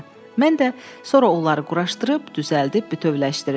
Mən də sonra onları quraşdırıb, düzəldib bütövləşdirirdim.